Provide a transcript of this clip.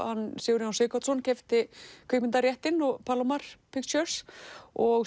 hann Sigurjón Sighvatsson keypti kvikmyndaréttinn og Palomar Pictures og